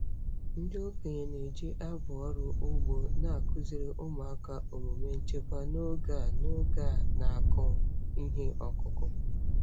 Ndị okenye na-eji abụ ọrụ ugbo na-akụziri ụmụaka omume nchekwa n'oge a n'oge a na-akụ ihe ọkụkụ.